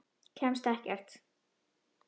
Kemst ekkert.